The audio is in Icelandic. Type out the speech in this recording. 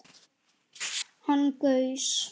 Hann gaus